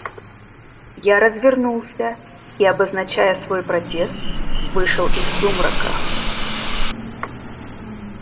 я развернулся и обозначая свой протест вышел из сумрака